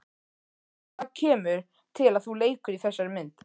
Hvað kemur til að þú leikur í þessari mynd?